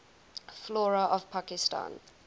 flora of pakistan